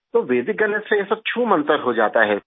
तो वैदिक गणित से ये सब छूमंतर हो जाता है